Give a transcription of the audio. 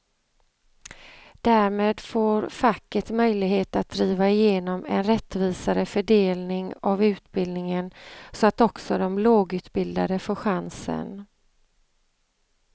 Därmed får facket möjlighet att driva igenom en rättvisare fördelning av utbildningen så att också de lågutbildade får chansen.